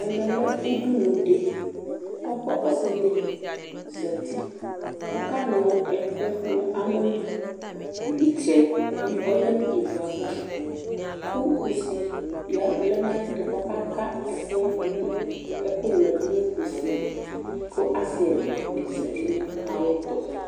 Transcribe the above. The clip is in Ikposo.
Ɛmɛ lɛ udunu dɩ Kʋ ɔsɩ dɩ zati kʋ ɔkanʋ ɛkʋ nʋ amɔ li Ɩtsɛ ɔyǝ nʋ ivu yɛ ava kʋ kusi lɛ nʋ ayɛtʋ kʋ ɔkaka ɛkʋnʋ yɛ dʋ nʋ kusi li kʋ asɩ ɛla dɩ zati nʋ ayɛtʋ